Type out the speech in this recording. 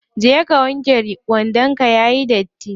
Je ka wanke wandon ka yayi datti.